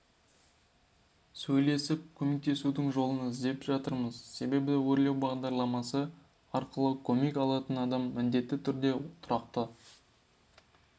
сөйлесіп көмектесудің жолын іздеп жатырмыз себебі өрлеу бағдарламасы арқылы көмек алатын адам міндетті түрде тұрақты